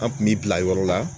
An kun bɛ bila yɔrɔ la